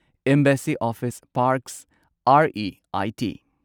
ꯑꯦꯝꯕꯦꯁꯁꯤ Office Parks R E I T